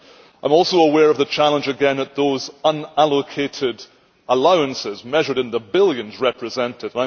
I am also aware of the challenge again of those unallocated allowances measured in the billions represented.